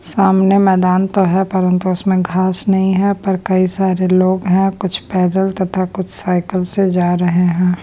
सामने मैदान तो है परंतु उसमें घास नहीं है पर कई सारे लोग हैं कुछ पैदल तथा कुछ साइकिल से जा रहे है।